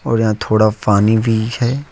और यहां थोड़ा पानी भी है।